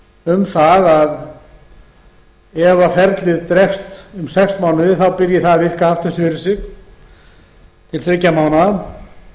um að ef ferlið dregst um sex mánuði byrji það að virkja aftur fyrir sig til þriggja mánaða